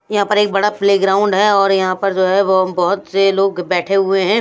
यहां पर एक बड़ा प्लेग्राउंड है और यहां पर जो है वो बहुत से लोग बैठे हुए हैं।